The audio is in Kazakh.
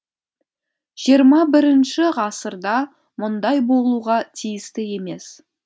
жиырма бірінші ғасырда мұндай болуға тиісті емес